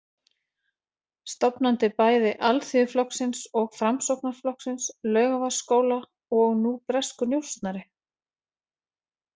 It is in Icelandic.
Stofnandi bæði Alþýðuflokksins og Framsóknarflokksins, Laugarvatnsskóla og nú breskur njósnari?